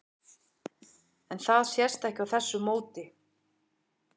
En það sést ekki á þessu móti?